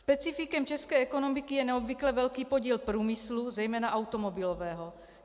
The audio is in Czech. Specifikem české ekonomiky je neobvykle velký podíl průmyslu, zejména automobilového.